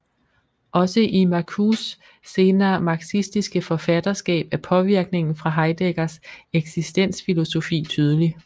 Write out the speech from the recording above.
Også i Marcuses senere marxistiske forfatterskab er påvirkningen fra Heideggers eksistensfilosofi tydelig